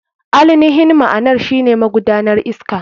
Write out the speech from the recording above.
AInihin ma'anar shine magudanar iska.